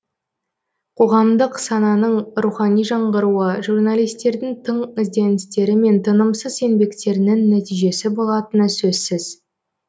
қоғамдық сананың рухани жаңғыруы журналистердің тың ізденістері мен тынымсыз еңбектерінің нәтижесі болатыны сөзсіз